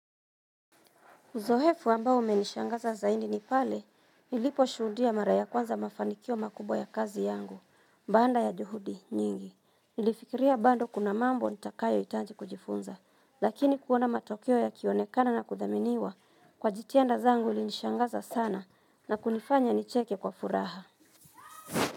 Uzoefu ambao umenishangaza zaidi ni pale, niliposhuhudia mara ya kwanza mafanikio makubwa ya kazi yangu, baada ya juhudi nyingi. Nilifikiria bado kuna mambo nitakayohitaji kujifunza, lakini kuona matokeo yakionekana na kuthaminiwa kwa jitihada zangu ilinishangaza sana na kunifanya nicheke kwa furaha.